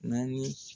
Naani